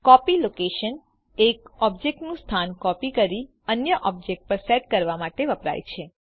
copy location એક ઓબ્જેક્ટનું સ્થાન કોપી કરી અન્ય ઓબ્જેક્ટ પર સેટ કરવા માટે વપરાય છે